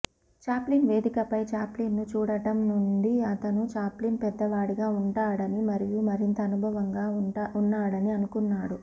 Chaplin వేదికపై Chaplin ను చూడటం నుండి అతను చాప్లిన్ పెద్దవాడిగా ఉంటాడని మరియు మరింత అనుభవంగా ఉన్నాడని అనుకున్నాడు